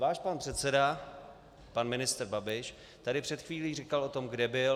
Váš pan předseda - pan ministr Babiš tady před chvílí říkal o tom, kde byl.